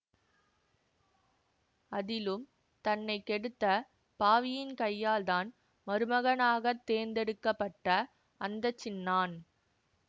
அதிலும் தன்னை கெடுத்த பாவியின் கையாள்தான் மருமகனாகத் தேர்ந்தெடுக்க பட்ட அந்த சின்னான்